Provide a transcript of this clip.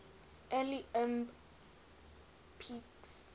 early ibm pcs